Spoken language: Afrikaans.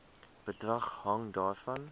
bedrag hang daarvan